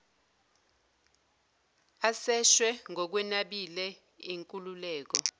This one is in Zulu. aseshwe ngokwenabile inkululeko